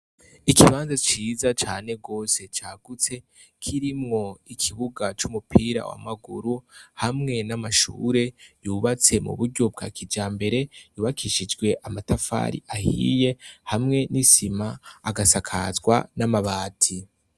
Ikibanza ciza cane rwose cagutse kirimwo ikibuga c'umupira w’amaguru hamwe n'amashure yubatse mu buryo bwa kijambere yubakishijwe amatafari ahiye hamwe n'isima agasakazwa n'amabati.